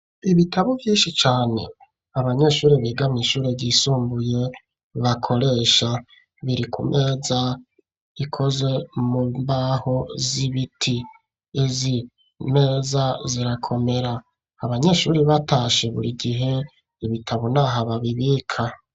Ibitabo vyinshi cane abanyeshuri biga mw'ishure ryisumbuye bakoresha biri ku meza ikoze mu mbaho z'ibiti izi meza zirakomera abanyeshuri batashe buri gihe ibitabo naha babibika.